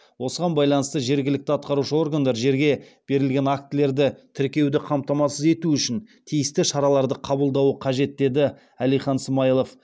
осыған байланысты жергілікті атқарушы органдар жерге берілген актілерді тіркеуді қамтамасыз ету үшін тиісті шараларды қабылдауы қажет деді әлихан смайылов